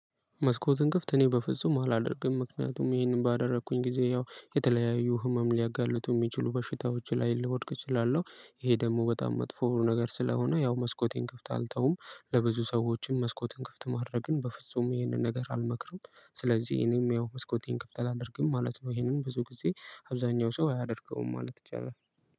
መስኮትን ክፍት እኔ በፍጹም አላደርግም ምክንያቱም ይሄንን ባደረኩኝ ጊዜ ያው የተለያዩ ህመም ሊያጋልጡ የሚችሉ በሽታዎች ላይ ልወድቅ እችላለሁ ይሄ ደግሞ በጣም መጥፎ ነገር ስለሆነ ያው መስኮቴን ክፍት አልተውም። ለብዙ ሰዎችም መስኮትን ክፍት ማድረግን በፍጹም ይሄንን ነገር አልመክርም። ስለዚህ እኔም ያው መስኮቴን ክፍት አላደርግም ማለት ነው። ይሄንን ብዙ ጊዜ አብዛኛው ሰው አያደርገውም ማለት ይቻላል።